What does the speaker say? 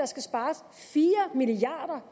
skal spares fire milliard